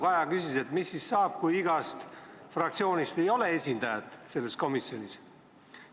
Kaja küsis, et mis siis saab, kui igast fraktsioonist ei ole esindajat selles komisjonis.